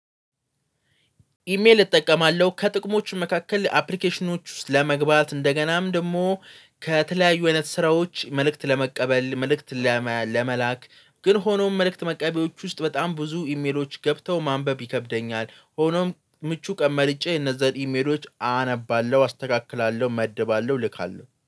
ኢሜል እጠቀማለሁ ከጥቅሞች መካከል አፕሊኬሽኖች ውስጥ ለመግባት እንደገናም ደግሞ። ከተለያዩ አይነት ስራዎች መልእክት ለመቀበል መልእክት። ለመላክ ግን ሆኖም መልእክት መቀበሎች ውስጥ በጣም ብዙ ኢሜሎች ገብተው ማንበብ ይከብደኛል። ሆኖም ምቹ ቀን መልጬ እነዛን ኢሜሎች አነባለሁ አስተካክላለሁ እመድባለሁ እልካለሁ